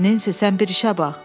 Nensi, sən bir işə bax!